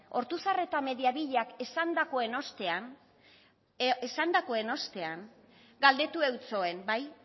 ortuzar eta mediavillak esandakoen ostean galdetu eutsoen